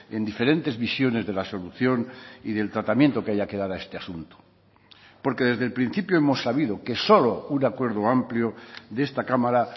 en diferentes visiones de la solución y del tratamiento que haya que dar a este asunto porque desde el principio hemos sabido que solo un acuerdo amplio de esta cámara